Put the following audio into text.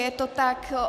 Je to tak.